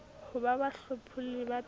ho ba bahlopholli ba peo